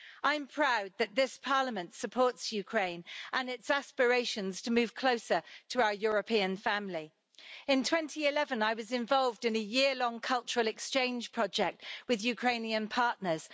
I'm proud that this Parliament supports Ukraine and its aspirations to move closer to our European family. In 2011, I was involved in a year-long cultural exchange project with Ukrainian partners.